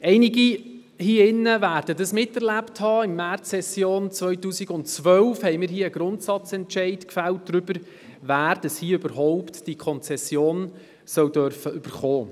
Einige hier drinnen werden miterlebt haben, dass wir in der Märzsession 2012 den Grundsatzentscheid darüber gefällt haben, wer die Konzession überhaupt soll erhalten dürfen.